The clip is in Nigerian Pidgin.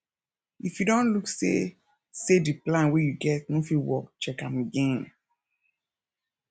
if you don look see sey di plan wey you get no fit work check am again